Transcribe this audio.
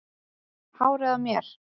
Hárið á mér?